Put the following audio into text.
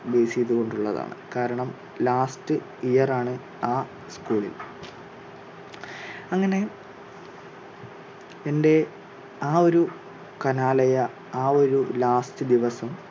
base ചെയ്തുകൊണ്ടുള്ളതാണ് കാരണം last year ആണ് ആ school ിൽ. അങ്ങനെ എന്റെ ആ ഒരു കലാലയ ആ ഒരു last ദിവസം